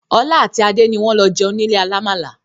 Ọlá àti Adé ni wọn lọ jẹun nílé alàmàalà